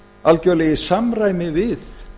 algjörlega í samræmi við